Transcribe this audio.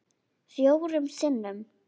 Fjórum sinnum?